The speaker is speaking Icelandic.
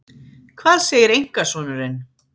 Hvað segir einkasonurinn?